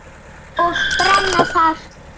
Og brenna þar.